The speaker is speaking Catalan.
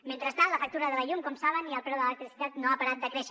mentrestant la factura de la llum com saben i el preu de l’electricitat no han parat de créixer